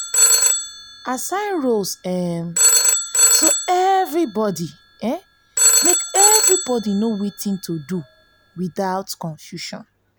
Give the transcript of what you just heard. assign roles um so everybody so everybody know wetin to do without confusion